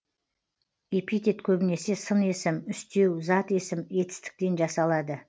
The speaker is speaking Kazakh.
эпитет көбінесе сын есім үстеу зат есім етістіктен жасалады